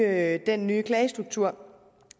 af den nye klagestruktur